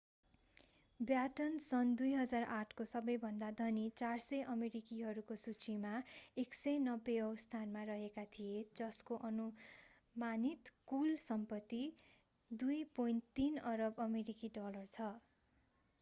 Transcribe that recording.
baton सन् 2008 को सबैभन्दा धनी 400 अमेरिकीहरूको सूचीमा 190 औँ स्थानमा रहेका थिए जसको अनुमानित कुल सम्पत्ति 2.3 अरब अमेरिकी डलर छ